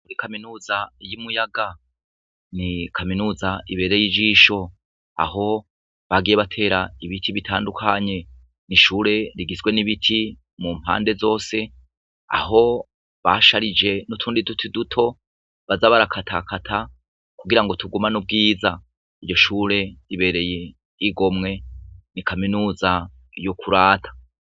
Kuri kaminuza y'i Muyaga, ni kaminuza ibereye ijisho, aho bagiye batera ibiti bitandukanye. Ni ishure rigizwe n'ibiti mu mpande zose, aho basharije n'utundi duti duto baza barakatakata kugira tugumane ubwiza. Iryo shure ribereye igomwe. Ni kaminuza y'ukurata.